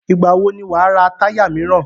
Ìgbà wò ni wà á ra táyà míràn?